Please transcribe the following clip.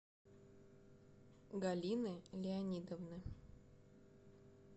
галины леонидовны